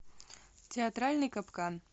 театральный капкан